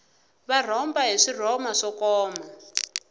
va rhomba hi swirhoma swo koma